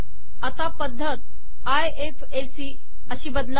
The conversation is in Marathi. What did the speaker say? आता पद्धत आयएफएसी अशी बदला